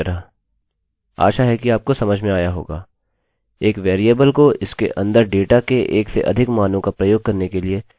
एक वेरिएबल को इसके अंदर डेटा के एक से अधिक मानों का प्रयोग करने के लिए यह बहुत सरल और अधिक प्रभावशाली तरीका है